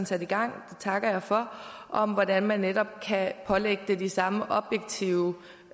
sat i gang det takker jeg for om hvordan man netop kan pålægge det de samme objektive